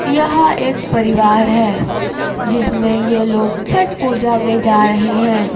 यह एक परिवार है जिसमें ये लोग छठ पूजा में जा रहे हैं।